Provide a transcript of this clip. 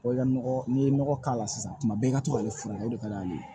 Wa i ka nɔgɔ n'i ye nɔgɔ k'a la sisan tuma bɛɛ i ka to k'ale furakɛ o de ka d'ale ye